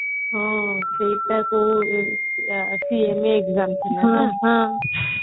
ହଁ exam ଥିଲା ନା ହଁ